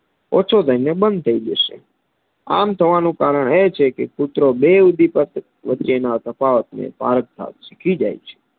ઓછો થઈને બંધ થઇ ને બંધ થઈ જશે આમ થવાનું કારણ એ છેકે કૂતરો બે ઉદીપક વચ્ચેના તફાવતને પારખતા શીખી જાય છે.